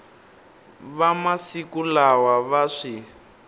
va masiku lawa va swi